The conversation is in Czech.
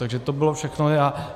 Takže to bylo všechno.